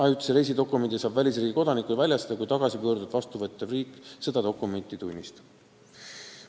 Ajutise reisidokumendi saab välisriigi kodanikule väljastada, kui tagasipöördujat vastuvõttev riik seda dokumenti tunnistab.